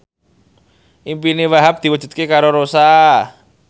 impine Wahhab diwujudke karo Rossa